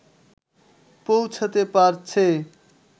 পৌঁছাতে পারছে